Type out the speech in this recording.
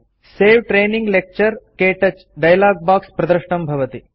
सवे training lecture - क्तौच dialogue box प्रदृष्टं भवति